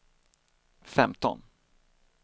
femton